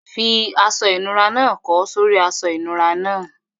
Fi aṣọ ìnura náà kọ́ sórí i aṣọ ìnura náà.